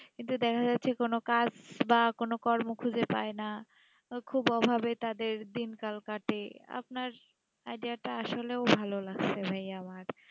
দেখা যাচ্ছেই যে কোনো কাজ বা কোনো কর্ম কাজে পায়ে না খুব অভাবে তাদের দিন কারো কাটে আপনার idea তা আসলে ভালো লাগছে ভাই আমার